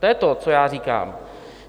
To je to, co já říkám.